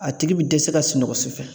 A tigi bi dɛsɛ ka sunɔgɔ su fɛ.